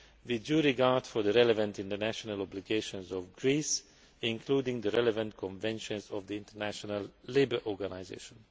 with due regard for the relevant international obligations of Greece, including the relevant conventions of the International Labour Organisation.